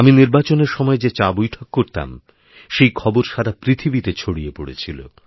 আমিনির্বাচনের সময় যে চাবৈঠক করতাম সেই খবর সারা পৃথিবীতে ছড়িয়ে পড়েছিল